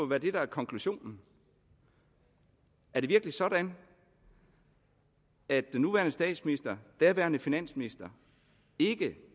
være det der er konklusionen er det virkelig sådan at den nuværende statsminister daværende finansminister